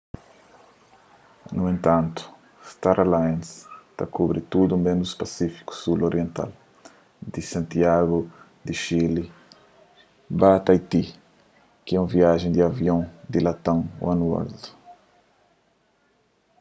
nu entantu star alliance ta kubri tudu ménus pasífiku sul oriental di santiagu di xili ba taiti ki é un viaji di avion di latam oneworld